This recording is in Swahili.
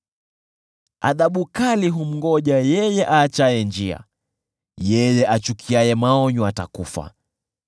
Adhabu kali humngoja yeye aachaye njia; yeye achukiaye maonyo atakufa.